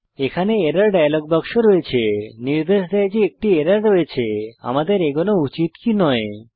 এখানে error dialog বাক্স রয়েছে নির্দেশ দেয় যে একটি এরর রয়েছে আমাদের এগোনো উচিত কি নয়